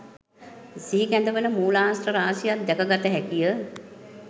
සිහිකැඳවන මූලාශ්‍ර රාශියක් දැකගත හැකිය.